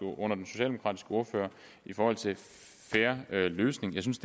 ordfører i forhold til fair løsning jeg synes